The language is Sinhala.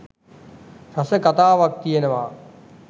රස කතාවක් තියෙනවා.